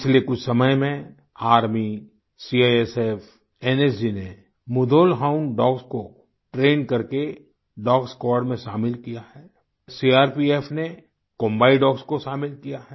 पिछले कुछ समय में आर्मी सीआईएसएफ एनएसजी ने मुधोल हाउंड डॉग्स को ट्रेन्ड करके डॉग स्क्वाड में शामिल किया है सीआरपीएफ ने कोम्बाई डॉग्स को शामिल किया है